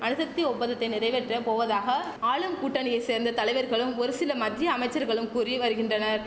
அணுசக்தி ஒப்பந்தத்தை நிறைவேற்ற போவதாக ஆளும் கூட்டணியை சேர்ந்த தலைவர்களும் ஒரு சில மத்திய அமைச்சர்களும் கூறி வருகின்றனர்